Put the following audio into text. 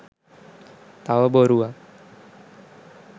තව බොරුවක්.